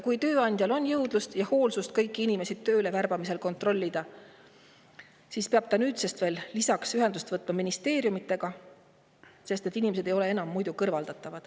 Kui tööandjal on, et kõiki inimesi tööle värbamisel kontrollida, siis nüüdsest peab ta ühendust võtma ka ministeeriumidega, sest muidu ei saa ta neid inimesi kõrvaldada.